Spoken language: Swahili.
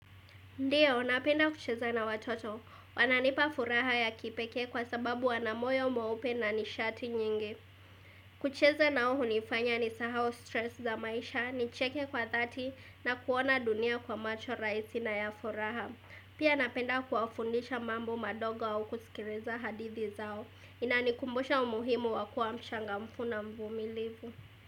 Ndiyo, napenda kucheza na watoto. Wananipa furaha ya kipekee kwa sababu wana moyo mueupe na nishati nyingi. Kucheza nao hunifanya ni sahau stress za maisha, ni cheke kwa thati na kuona dunia kwa macho raisi na ya furaha. Pia napenda kuwafundisha mambo madogo au kusikiliza hadithi zao. Inanikumbusha umuhimu wakua mchangamfu na mvumilivu.